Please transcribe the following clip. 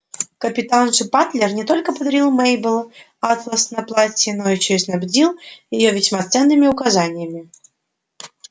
капитан же батлер не только подарил мейбелл атлас на платье но ещё и снабдил её весьма ценными указаниями